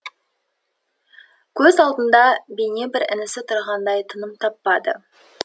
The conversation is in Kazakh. көз алдында бейне бір інісі тұрғандай тыным таппады